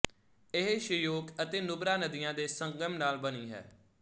ਇਹ ਸ਼ਯੋਕ ਅਤੇ ਨੁਬਰਾ ਨਦੀਆਂ ਦੇ ਸੰਗਮ ਨਾਲ ਬਣੀ ਹੈ